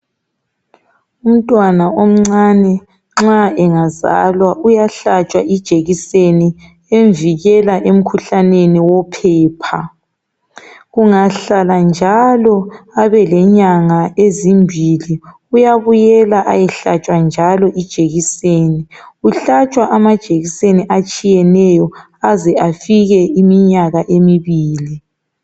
Umntwana omncane nxa engazalwa uyahlatshwa ijekiseni emvikela emkhuhlaneni wophepha. Kungahlala njalo abelenyanga ezimbili uyabuyela ayahlatshwa njalo ijekiseni. Uhlatshwa amajekiseni atshiyeneyo aze afike iminyaka emibili .